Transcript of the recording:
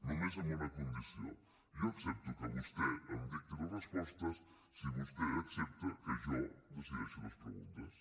només amb una condició jo accepto que vostè em dicti les respostes si vostè accepta que jo decideixi les preguntes